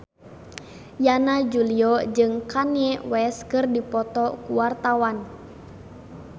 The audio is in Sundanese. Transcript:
Yana Julio jeung Kanye West keur dipoto ku wartawan